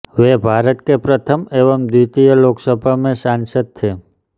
वे भारत के प्रथम एवं द्वितीय लोकसभा में सांसद थे